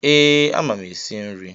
Ee, ama m esi nri.